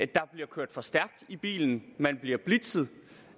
der bliver kørt for stærkt i bilen man bliver blitzet